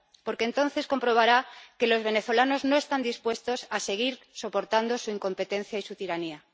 Porque entonces comprobará que los venezolanos no están dispuestos a seguir soportando su incompetencia y su tiranía.